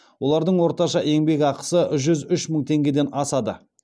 олардың орташа еңбекақысы жүз үш мың теңгеден асады